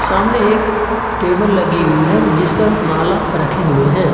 सामने एक टेबल लगी हुई है जिस पर माला रखे हुए हैं।